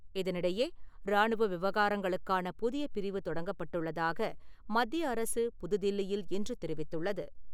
இதனிடையே, ராணுவ விவகாரங்களுக்கான புதிய பிரிவு தொடங்கப்பட்டுள்ளதாக, மத்திய அரசு புதுதில்லியில் இன்று தெரிவித்துள்ளது.